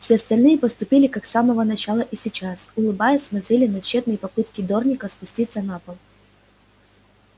все остальные поступили как с самого начала и сейчас улыбаясь смотрели на тщетные попытки дорника спуститься на пол